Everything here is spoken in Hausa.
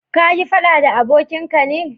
ka yi faɗa da abokin ka ne?